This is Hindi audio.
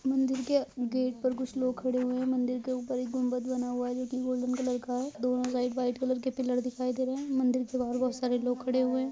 मंदिर के गेट पर कुछ लोग खड़े हुए है मंदिर के ऊपर एक गुंबत बना हुआ है लेकिन गोल्डन कलर का है दोनों साइड व्हाइट कलर के पिलर दिखाई दे रहे है मंदिर के बाहर बहुत सारे लोग खड़े हुए है।